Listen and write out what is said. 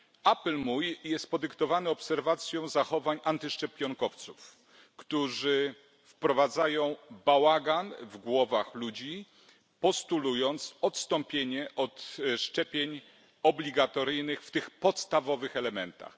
Apel mój jest podyktowany obserwacją zachowań antyszczepionkowców, którzy wprowadzają bałagan w głowach ludzi, postulując odstąpienie od szczepień obligatoryjnych w tych podstawowych elementach.